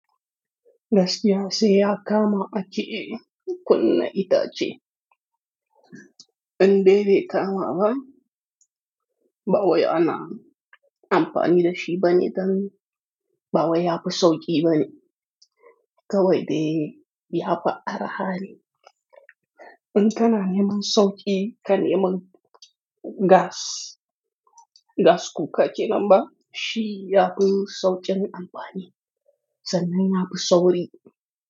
Gaskiya sai ya kama a ciye kunna ita ce. In dai bai kama ba, ba wai ana amfani da shi ba ne dan ba wai ya fi sauƙi ba ne. Kawai dai ya fi arha ne. In kana neman sauƙi ka neman gas, gas cooka kenan ba shi ya fi sauƙin amfani sannan ya fi sauri.